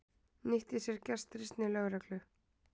Nýtti sér gestrisni lögreglu